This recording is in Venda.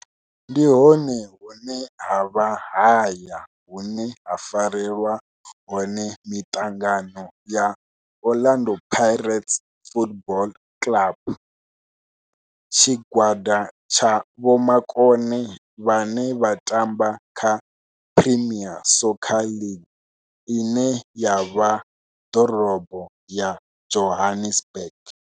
Ndi hone hune havha haya hune ha farelwa hone mitangano ya Orlando Pirates Football Club. Tshigwada tsha vhomakone vhane vha tamba kha Premier Soccer League ine ya vha Dorobo ya Johannesburg.